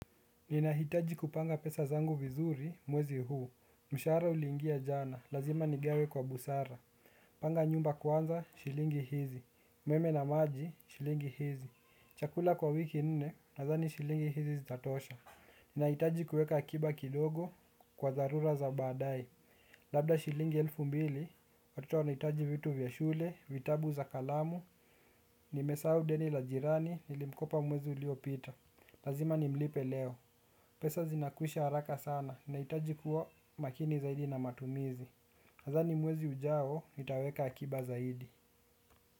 Ninahitaji kupanga pesa zangu vizuri mwezi huu. Mshahara uliingia jana, lazima nigawe kwa busara. Panga nyumba kwanza, shilingi hizi umeme na maji, shilingi hizi. Chakula kwa wiki nne, nadhani shilingi hizi zitatosha. Ninahitaji kuweka akiba kidogo, kwa dharura za baadae. Labda shilingi elfu mbili. Watoto wanahitaji vitu vya shule, vitabu za kalamu. Nimesahau deni la jirani, nilimkopa mwezi uliopita. Lazima nimlipe leo. Pesa zinakwisha haraka sana nahitaji kuwa makini zaidi na matumizi nadhani mwezi ujao nitaweka akiba zaidi.